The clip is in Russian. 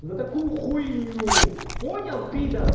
за такую хуйню понял пидор